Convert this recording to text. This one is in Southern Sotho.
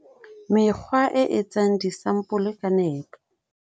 Mekgwa e etsang disampole ka nepo